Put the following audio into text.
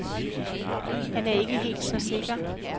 Han er ikke helt så sikker.